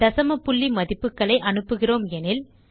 தசம புள்ளி மதிப்புகளை அனுப்புகிறோம் எனில்